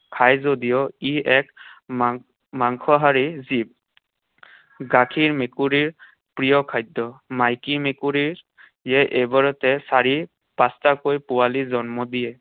খাই যদিও ই এক মাং~ মাংসহাৰী জীৱ। গাখীৰ মেকুৰীৰ প্ৰিয় খাদ্য। মাইকী মেকুৰীৰ এবাৰতে চাৰি পাঁচটাকৈ পোৱালী জন্ম দিয়ে।